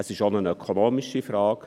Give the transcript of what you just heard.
Es ist auch eine ökonomische Frage: